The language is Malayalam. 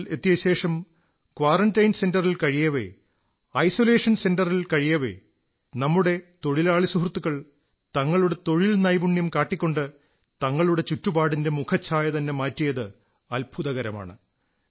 ഗ്രാമത്തിൽ എത്തിയ ശേഷം ക്വാറന്റൈൻ സെന്ററിൽ കഴിയവേ ഐസൊലേഷൻ സെന്ററിൽ കഴിയവേ നമ്മുടെ തൊഴിലാളി സുഹൃത്തുക്കൾ തങ്ങളുടെ തൊഴിൽ നൈപുണ്യം കാട്ടിക്കൊണ്ട് തങ്ങളുടെ ചുറ്റുപാടിന്റെ മുഖച്ഛായതന്നെ മാറ്റിയത് അത്ഭുതകരമാണ്